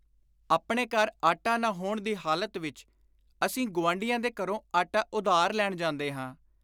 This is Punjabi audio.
ਆਪਣੇ ਘਰ ਆਟਾ ਨਾ ਹੋਣ ਦੀ ਹਾਲਤ ਵਿਚ ਅਸੀਂ ਗੁਆਂਢੀਆਂ ਦੇ ਘਰੋਂ ਆਟਾ ਉਧਾਰ ਲੈਣ ਜਾਂਦੇ ਹਾਂ,